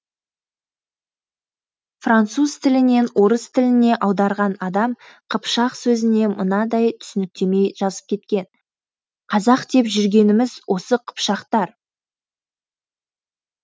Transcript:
француз тілінен орыс тіліне аударған адам қыпшақ сөзіне мынадай түсініктеме жазып кеткен қазақ деп жүргеніміз осы қыпшақтар